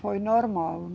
Foi normal.